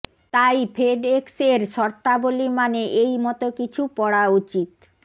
তাই ফেডএক্স এর শর্তাবলী মানে এই মত কিছু পড়া উচিত